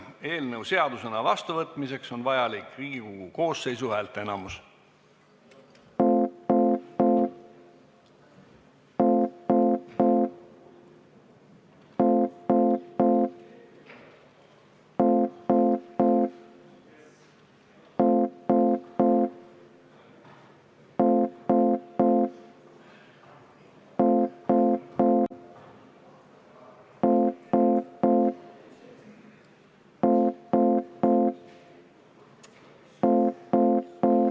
Eelnõu seadusena vastuvõtmiseks on vajalik Riigikogu koosseisu häälteenamus.